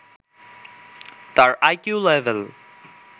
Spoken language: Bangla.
তার আইকিউ লেভেল